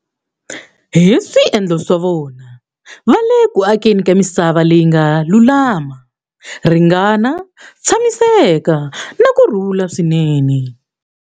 Hi swiendlo swa vona, va le ku akeni ka misava leyi nga lulama, ringana, tshamiseka na ku rhula swinene.